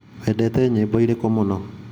wendete nyĩmbo irĩkũ mũno ?